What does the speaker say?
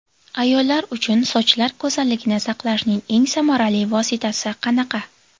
Ayollar uchun sochlar go‘zalligini saqlashning eng samarali vositasi qanaqa?